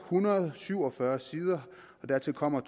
hundrede og syv og fyrre sider og dertil kommer